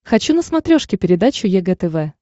хочу на смотрешке передачу егэ тв